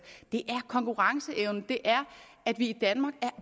det er konkurrenceevnen det er at vi i danmark er